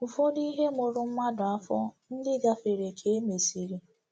Ụfọdụ ihe mụrụ mmadụ afọ ndị gafere ka e mesịrị.